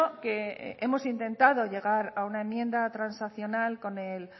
que hemos intentado llegar a una enmienda transaccional con el